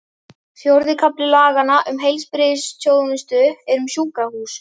Fjórði kafli laganna um heilbrigðisþjónustu er um sjúkrahús.